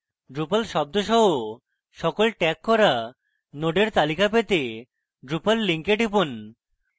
drupal শব্দ সহ সকল ট্র্যাগ করা নোডের তালিকা পেতে drupal link টিপুন